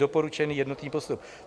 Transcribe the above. Doporučený jednotný postup.